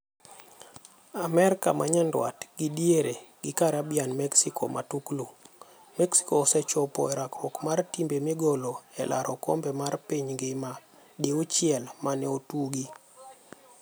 AMERIKA MA NYANDWAT GI DIERE gi CARIBBEAN Mexico Matuklu: Mexico osechopo e rakruok mar timbe migolo e laro okombe mar piny ngima diuchiel mane otugi.